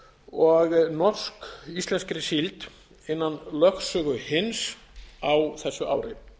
og norsk íslenskri síld innan lögsögu hins á þessu ári